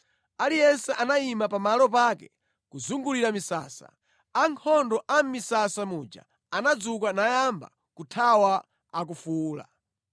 Aliyense anayima pa malo pake kuzungulira misasa. Ankhondo a mʼmisasa muja anadzuka nayamba kuthawa akufuwula.